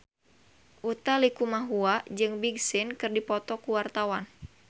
Utha Likumahua jeung Big Sean keur dipoto ku wartawan